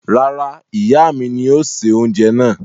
Rárá, ìyà mi ní yóò ṣẹ̀ ọunjẹ náà.